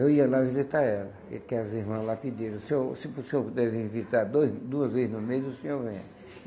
Eu ia lá visitar ela, que que as irmãs lá pediram, se o senhor se o senhor puder visitar dois duas vezes no mês, o senhor venha.